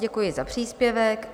Děkuji za příspěvek.